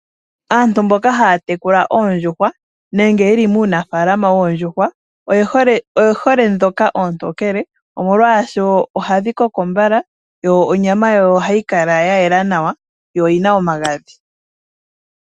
Aantu mboka haya tekula oondjuhwa nenge yeli muunafalama wooondjuhwa oye hole ndhoka oontokele omolwasho ohadhi koko mbala yo onyama yawo ohayi kala ya yela nawa yo oyina omagadhi.